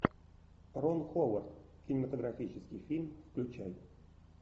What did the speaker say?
рон ховард кинематографический фильм включай